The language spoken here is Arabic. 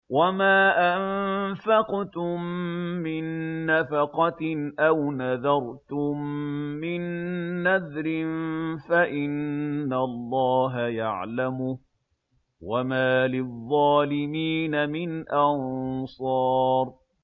وَمَا أَنفَقْتُم مِّن نَّفَقَةٍ أَوْ نَذَرْتُم مِّن نَّذْرٍ فَإِنَّ اللَّهَ يَعْلَمُهُ ۗ وَمَا لِلظَّالِمِينَ مِنْ أَنصَارٍ